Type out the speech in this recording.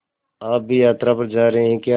आप भी यात्रा पर जा रहे हैं क्या